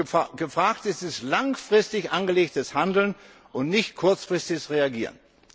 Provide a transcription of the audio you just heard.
Was gefragt ist, ist langfristig angelegtes Handeln und nicht kurzfristiges Reagieren.